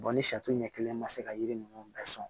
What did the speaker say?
ni sɛ ɲɛ kelen ma se ka yiri ninnu bɛɛ sɔn